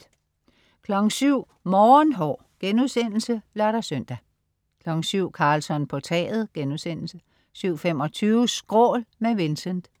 07.00 Morgenhår* (lør-søn) 07.00 Karlsson på taget* 07.25 Skrål med Vincent